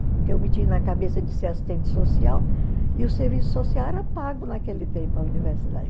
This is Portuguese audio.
Porque eu meti na cabeça de ser assistente social e o serviço social era pago naquele tempo, a universidade.